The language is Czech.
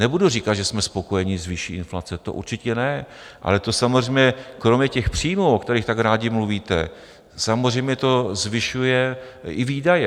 Nebudu říkat, že jsme spokojení s výší inflace, to určitě ne, ale to samozřejmě kromě těch příjmů, o kterých tak rádi mluvíte, samozřejmě to zvyšuje i výdaje.